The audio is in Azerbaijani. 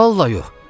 Vallah yox.